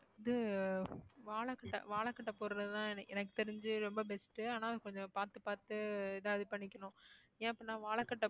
இது வாழைக்கட்டை வாழைக்கட்டை போடுறதுதான் எ~ எனக்கு தெரிஞ்சு ரொம்ப best உ ஆனா கொஞ்சம் பாத்து பாத்து ஏதாவது பண்ணிக்கணும் ஏன் அப்ப நான் வாழைக்கட்டை